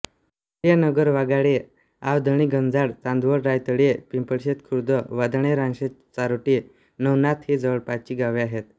सूर्यानगर वाघाडी आवधणीगंजाड चांदवड रायतळी पिंपळशेत खुर्द वाधाणे रानशेत चारोटी नवनाथ ही जवळपासची गावे आहेत